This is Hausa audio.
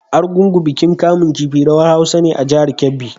Argungu bikin kamun kifi/rawar Hausa ne a jihar Kebbi.